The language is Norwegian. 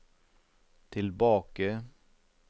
tilbake